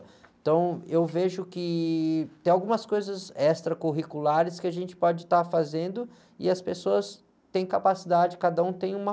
Então, eu vejo que tem algumas coisas extracurriculares que a gente pode estar fazendo e as pessoas têm capacidade, cada um tem uma